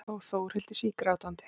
Og Þórhildi sígrátandi.